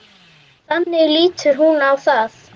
Þannig lítur hún á það.